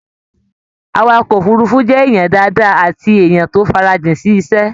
Àwàkọ̀ òfurùnfu jẹ ènìyàn dáadáa àti èèyàn tó farajin sí iṣẹ.